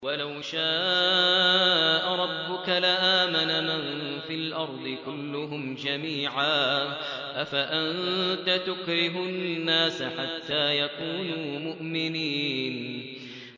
وَلَوْ شَاءَ رَبُّكَ لَآمَنَ مَن فِي الْأَرْضِ كُلُّهُمْ جَمِيعًا ۚ أَفَأَنتَ تُكْرِهُ النَّاسَ حَتَّىٰ يَكُونُوا مُؤْمِنِينَ